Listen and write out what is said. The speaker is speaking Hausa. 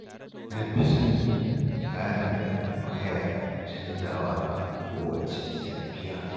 Na fi son yin tsarin da ba ya canzawa a kowacce safiya